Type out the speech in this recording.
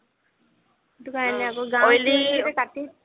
সেইটো কাৰণে আকৌ